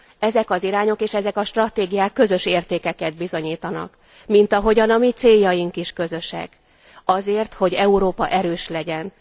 Ezek az irányok és ezek a stratégiák közös értékeket bizonyítanak, mint ahogyan a ki céljaink is közösek azért, hogy Európa erős legyen.